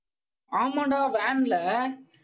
ஆமாண்டா van ல